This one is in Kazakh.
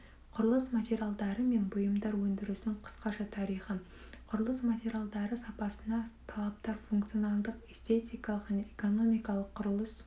құрылыс материалдары мен бұйымдар өндірісінің қысқаша тарихы құрылыс материалдары сапасына талаптар функционалдық эстетикалық және экономикалық құрылыс